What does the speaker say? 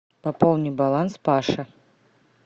пополни баланс паша